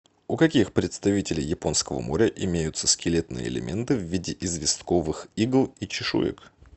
у каких представителей японского моря имеются скелетные элементы в виде известковых игл и чешуек